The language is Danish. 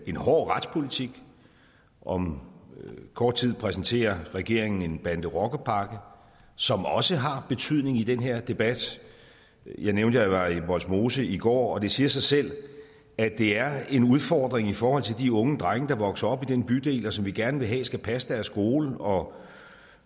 en hård retspolitik om kort tid præsenterer regeringen en bande rocker pakke som også har betydning i den her debat jeg nævnte at jeg var i vollsmose i går og det siger sig selv at det er en udfordring i forhold til de unge drenge der vokser op i den bydel og som vi gerne vil have skal passe deres skole og